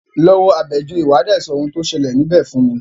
Lọ wo Àbẹ̀joyè, wà á dé sọ oun tí o ṣẹlẹ̀ níbẹ̀ fún mi!